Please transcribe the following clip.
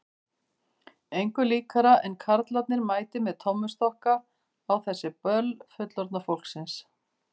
Engu líkara en karlarnir mæti með tommustokka á þessi böll fullorðna fólksins.